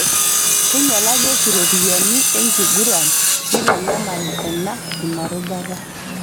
Keinyalari oshi ropiyiani enkiguran neitanyamal ena ina rubata